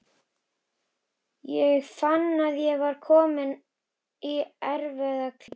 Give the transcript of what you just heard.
Ég fann að ég var kominn í erfiða klípu.